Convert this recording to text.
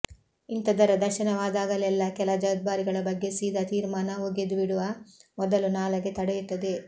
ಇಂಥದರ ದರ್ಶನವಾದಾಗೆಲ್ಲ ಕೆಲ ಜವಾಬ್ದಾರಿಗಳ ಬಗ್ಗೆ ಸೀದ ತೀರ್ಮಾನ ಒಗೆದು ಬಿಡುವ ಮೊದಲು ನಾಲಗೆ ತಡೆಯುತ್ತದೆ